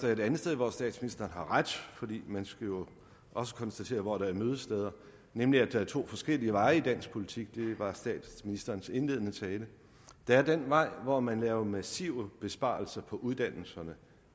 er et andet sted hvor statsministeren har ret for man skal jo også konstatere hvor der er mødesteder nemlig at der er to forskellige veje i dansk politik det var i statsministerens indledende tale der er den vej hvor man laver massive besparelser på uddannelserne